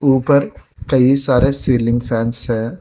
ऊपर कई सारे सीलिंग फैंस है।